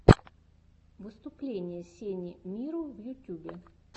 выступление сени миро в ютюбе